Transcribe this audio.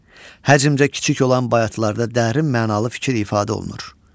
Həcmcə kiçik olan bayatlarda dərin mənalı fikir ifadə olunur.